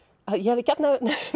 að ég hefði gjarnan